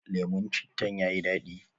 Lemun cittan yayi dadi